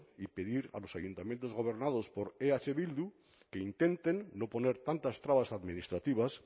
y pedir a los ayuntamientos gobernados por eh bildu que intenten no poner tantas trabas administrativas